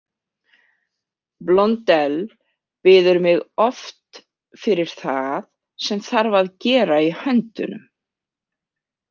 Blondelle biður mig oft fyrir það sem þarf að gera í höndunum.